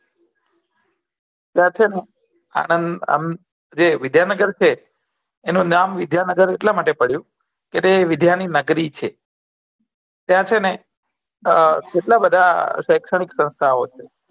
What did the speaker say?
ત્યાં છેને આનંદ અમ જે વિદ્યાનગર છે એનું નામ વિદ્યાનગર એટલા માટે પડ્યું કેમ કે વિદ્યા ની નગરી છે ત્યાં છેને આ કેટલા શેશ્ચાનીક બધા સંસ્થાઓ છે